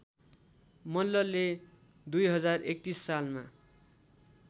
मल्लले २०३१ सालमा